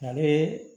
Ale